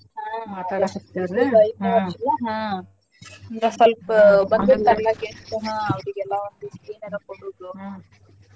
ಹಾ ಹಾ ಹಂಗ ಸ್ವಲ್ಪ ಬಂದಿರ್ತಾರಲ್ಲ್ guest ಹಾ ಅವ್ರಿಗೆಲ್ಲಾ ಒಂದಿಸ್ಟ್ ಏನರ ಕೊಡುದು .